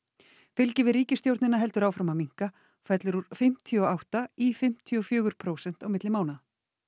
fylgi við ríkisstjórnina heldur áfram að minnka og fellur úr fimmtíu og átta í fimmtíu og fjögur prósent á milli mánaða